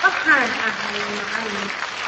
waxaan ahay macalin